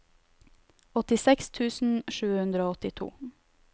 åttiseks tusen sju hundre og åttito